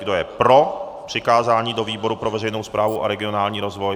Kdo je pro přikázání do výboru pro veřejnou správu a regionální rozvoj?